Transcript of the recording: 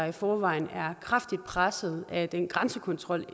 i forvejen er kraftigt presset af den grænsekontrol